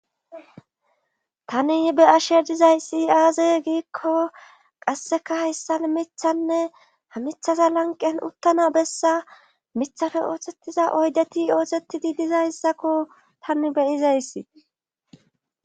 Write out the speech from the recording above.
tani be'ashe dizayssi aaze giikko qasseka hayssal mithanne ha mithaza lanqen uttana bessa mithafe oothettiza oydeti ootettidi dizayssakko tani beyizayssi